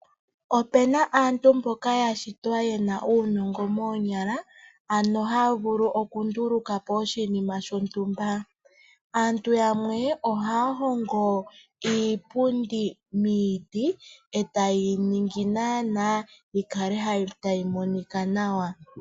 Opu na aantu mboka ya shitwa ye na uunongo moonyala, ano ha vulu okunduluka po oshinima shontumba. Aantu yamwe ohaya hongo iipundi miiti e taye yi ningi naanaa yi kale tayi monika nawa.